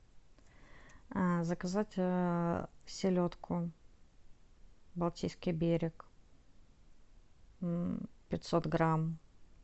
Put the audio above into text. заказать селедку балтийский берег пятьсот грамм